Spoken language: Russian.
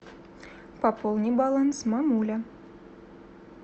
пополни баланс мамуля